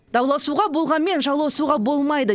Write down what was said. дауласуға болғанмен жауласуға болмайды